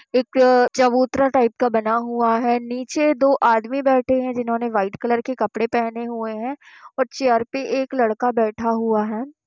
एक चबूतरा टाइप का बना हुआ है। नीचे दो आदमी बैठे हैं। जिन्होंने व्हाइट कलर के कपड़े पहने हुए हैं और चेयर पर एक लड़का बैठा हुआ है।